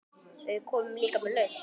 Við komum líka með lausn.